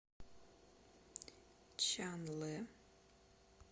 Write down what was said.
чанлэ